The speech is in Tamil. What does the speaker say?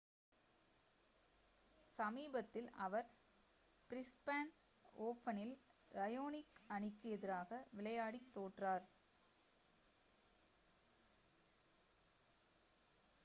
சமீபத்தில் அவர் பிரிஸ்பேன் ஓபனில் ராயோனிக் அணிக்கு எதிராக விளையாடித் தோற்றார்